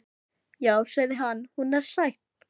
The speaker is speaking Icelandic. Já, sagði hann, hún er sæt.